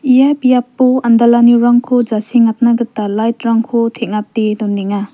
ia biapo andalanirangko jasengatna gita light-rangko teng·ate donenga.